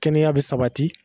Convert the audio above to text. Kɛnɛya be sabati